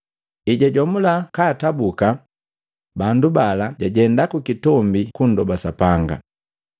Ejajomula katabuka bandu bala jajenda kukitombi kundoba Sapanga.